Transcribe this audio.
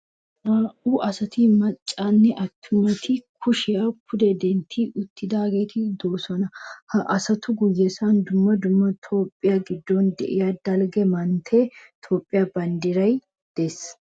Naa"u asati maccanne attumati kushiya pude dentti uttidaageeti de'oosona. Ha asatu guyyen dumma dumma Toophphiya giddon de'iya dalgga manttiyanne Toophphiya banddiray de'ees.